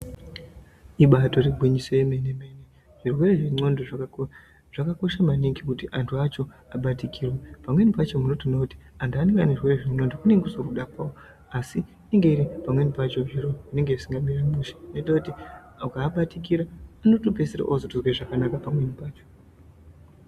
Ibaitori gwinyiso yemene-mene, Zvirwere zvendxondo zvakakosha maningi kuti antu acho abatikirwe, pamweni pacho munotoona kuti antu anenge ane zvirwere zvendxondo kunenge kusiri kuda kwavo asi inenge iri pamweni pacho zviro zvinenge zvisina kumira mushe zvinoita kuti muakabatikira unotopedzisira atozwa zvakanaka pamweni pacho.